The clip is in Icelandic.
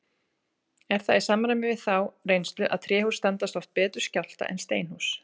Er það í samræmi við þá reynslu að tréhús standast oft betur skjálfta en steinhús.